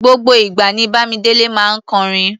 Gbogbo ìgbà ní Bámidélé máa ń kọrin.